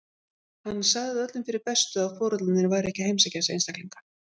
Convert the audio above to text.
Hann sagði það öllum fyrir bestu að foreldrarnir væru ekkert að heimsækja þessa einstaklinga.